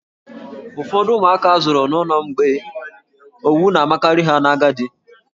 Ụfọdụ ụmụaka a zụrụ n'ụlọ mgbei, owu na-amakarị ha n'agadi.